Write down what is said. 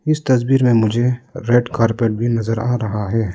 इस तस्वीर में मुझे रेड कारपेट भी नजर आ रहा है।